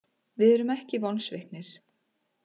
Við erum ekki vonsviknir.